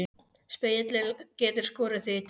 Spegillinn getur skorið þig í tætlur.